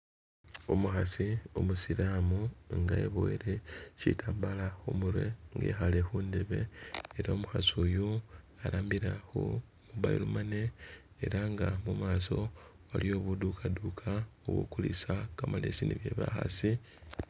Umukhasi umusilamu nga eboyele shitambala khumurwe ekhale khundebe ela umukhasi uyu arambilla khu mobile money ela nga mumasa waliyo budukhadukha ubukulisa kamalesi ne bye bakhasi